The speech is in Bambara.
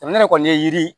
Jamana kɔni ye yiri